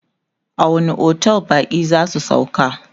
a wani otel bakin zasu sauka?